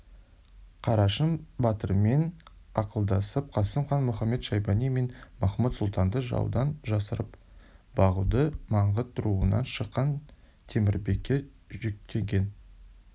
қарашың батырмен ақылдасып қасым хан мұхамед-шайбани мен махмуд-сұлтанды жаудан жасырып бағуды маңғыт руынан шыққан темірбекке жүктеген